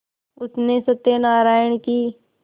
उसने सत्यनाराण की